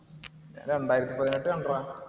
രണ്ടായിരത്തി പതിനെട്ട് കണ്ടെടാ.